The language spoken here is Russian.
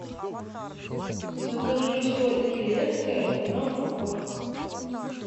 закажи соль илецкая одна упаковка